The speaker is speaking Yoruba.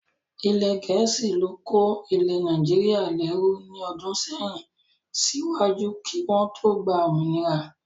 Ilẹ̀ gẹ̀ẹ́sì ló kó ilẹ̀ Nàìjíríà lẹ́rú ní ọdún sẹ́yìn síwájú kí wọ́n tó gba òmìnira